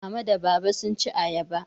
Mama da Baba sun ci ayaba.